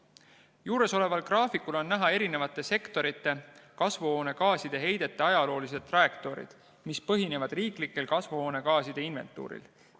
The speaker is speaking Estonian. Juuresoleval graafikul on näha erinevate sektorite kasvuhoonegaaside heidete ajaloolised trajektoorid, mis põhinevad riiklikul kasvuhoonegaaside inventuuril.